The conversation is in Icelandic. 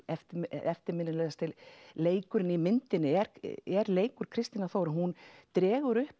eftirminnilegasti leikurinn í myndinni er er leikur Kristínar Þóru hún dregur upp